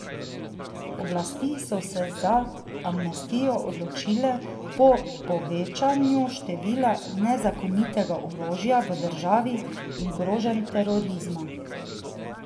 Oblasti so se za amnestijo odločile po povečanju števila nezakonitega orožja v državi in groženj terorizma.